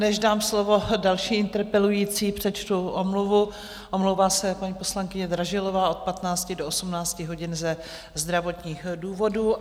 Než dám slovo další interpelující, přečtu omluvu: omlouvá se paní poslankyně Dražilová od 15 do 18 hodin ze zdravotních důvodů.